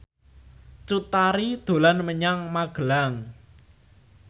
Cut Tari dolan menyang Magelang